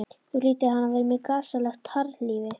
Þá hlýtur hann að vera með gasalegt harðlífi.